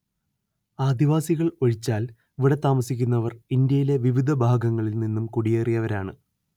ആദിവാസികൾ ഒഴിച്ചാൽ ഇവിടെ താമസിക്കുന്നവർ ഇന്ത്യയിലെ വിവിധ ഭാഗങ്ങളില്‍ നിന്നും കുടിയേറിയവരാണ്‌